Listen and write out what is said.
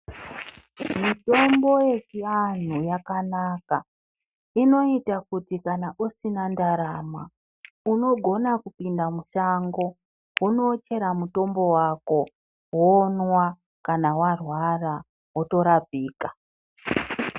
Mitombo yechianhu yakanaka inoita kuti kana usina ndarama unogona kupinda musango wonochera mutombo wako monwa. Kana warwara, wotorapika.